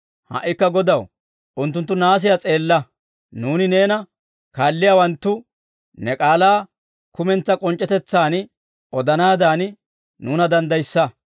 Ha"ikka Godaw, unttunttu naasiyaa s'eella; nuuni neena kaalliyaawanttu, ne k'aalaa kumentsaa k'onc'c'etetsaan odanaadan, nuuna danddayissa.